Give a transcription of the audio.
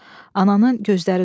Ananın gözləri doldu.